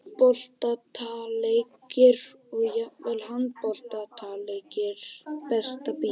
Fótboltaleikir og jafnvel handboltaleikir Besta bíómyndin?